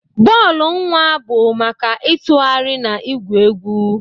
Bọọlụ nwa bụ maka ịtụgharị na igwu egwu.